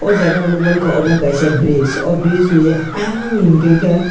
oh jaga ang nuk mankha obo ungkha kaisa bridge bridgeni ayang hinkakhe.